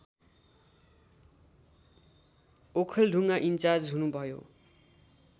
Okhaldhunga incharge हुनुभयो